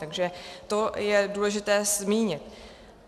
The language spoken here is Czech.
Takže to je důležité zmínit.